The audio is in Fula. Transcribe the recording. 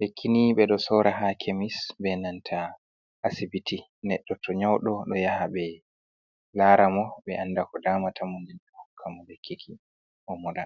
lekkini ɓe ɗo sora ha kemis be nanta asibiti goddo to nyaudo ɗo yaha ɓe lara mo ɓe anda ko damata mo ɓe hokka mo lekkiki o'moda.